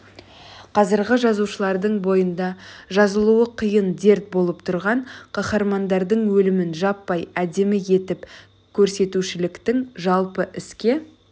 қазіргі жазушылардың бойында жазылуы қиын дерт болып тұрған қаһармандардың өлімін жаппай әдемі етіп көрсетушіліктің жалпы іске